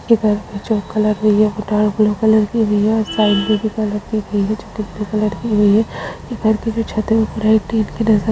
इधर पे जो कलर हुई है वो डार्क ब्लू कलर हुई है और साइड में जोकि ब्लू कलर की हुई है इधर की जो छत है वो पूरा एक --